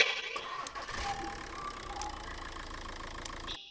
set ég